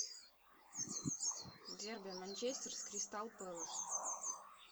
дерби манчестер с кристал пэлас